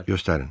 Göstərin.